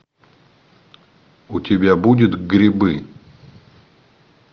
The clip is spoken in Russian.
у тебя будет грибы